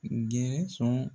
Gɛɛn sɔn